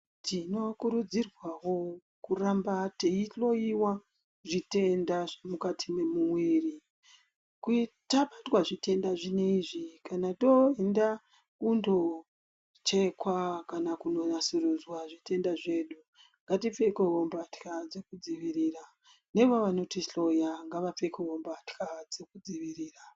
Tinokurudzirwa wo kuramba eyihloya zvitenda zvemukati me.uviri tabatwa zvitenda izvi kana toenda kunochekwa kana kunasurudzwa zvitenda zvedu ngatilfekewo mbatya dzekudzivirira neva noti hloya ngavapfekewo mbatya dzekudzivirira.